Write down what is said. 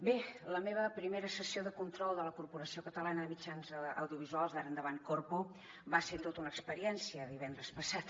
bé la meva primera sessió de control de la corporació catalana de mitjans audiovisuals d’ara endavant corpo va ser tota una experiència divendres passat